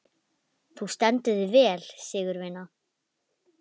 Þú stendur þig vel, Sigurvina!